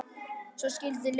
Svo skildi leiðir.